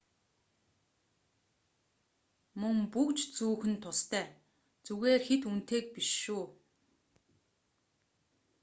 мөн бөгж зүүх нь тустай зүгээр хэт үнэтэйг биш шүү